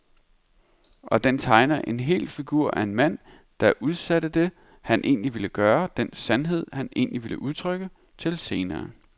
Og den tegner en hel figur af en mand, der udsatte det, han egentlig ville gøre, den sandhed, han egentlig ville udtrykke, til senere.